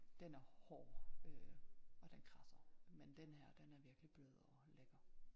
Den er hård øh og den kradser men den her den er virkelig blød og lækker